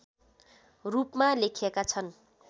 रूपमा लेखिएका छन्